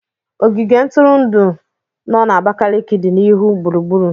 Ogige ntụrụndụ no na Abakaliki dị n'ihu gburugburu.